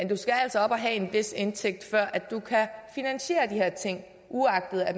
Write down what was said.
du skal altså have en vis indtægt før du kan finansiere de her ting uagtet at